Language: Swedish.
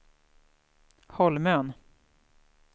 Holmön